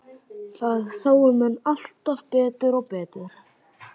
Það sáu menn alltaf betur og betur.